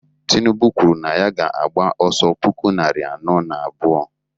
tinubu kwuru na ya ga-agba ọsọ puku narị anọ na abụọ